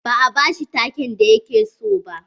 Ba a ba shi take'n da ya ke so ba.